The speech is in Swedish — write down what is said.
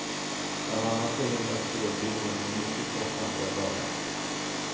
Bland annat förhindras spårbildningar som är mycket kostsamt att laga.